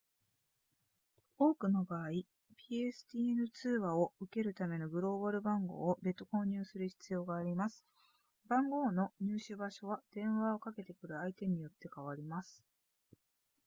多くの場合 pstn 通話を受けるためのグローバル番号を別途購入する必要があります番号の入手場所は電話をかけてくる相手によって変わります